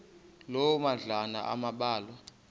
loo madlalana ambalwa